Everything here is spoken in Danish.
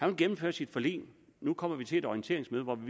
vil gennemføre sit forlig og nu kommer vi til et orienteringsmøde hvor vi